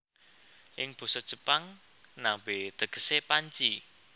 Ing basa Jepang nabe tegese panci